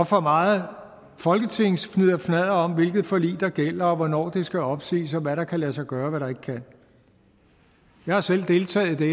for meget folketingsfnidderfnadder om hvilket forlig der gælder og hvornår det skal opsiges og hvad der kan lade sig gøre og hvad der ikke kan jeg har selv deltaget i det